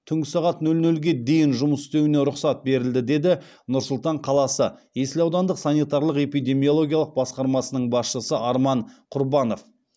түнгі сағат нөл нөлге дейін жұмыс істеуіне рұқсат деді нұр сұлтан қаласы есіл аудандық санитарлық эпидемиологиялық басқармасының басшысы арман құрбанов